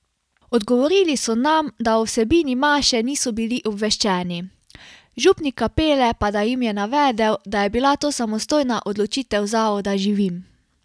Odgovorili so nam, da o vsebini maše niso bili obveščeni, župnik kapele pa da jim je navedel, da je bila to samostojna odločitev zavoda Živim.